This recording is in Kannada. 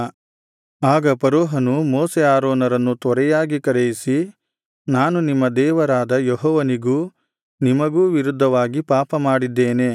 ಆಗ ಫರೋಹನು ಮೋಶೆ ಆರೋನರನ್ನು ತ್ವರೆಯಾಗಿ ಕರೆಯಿಸಿ ನಾನು ನಿಮ್ಮ ದೇವರಾದ ಯೆಹೋವನಿಗೂ ನಿಮಗೂ ವಿರುದ್ಧವಾಗಿ ಪಾಪಮಾಡಿದ್ದೇನೆ